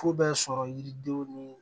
Fu bɛ sɔrɔ yiridenw ni